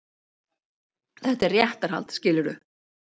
Þetta er réttarhald, skilurðu.